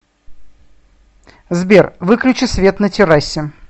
сбер выключи свет на террасе